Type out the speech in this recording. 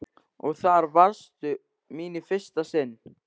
Og þar varðstu mín í fyrsta sinn.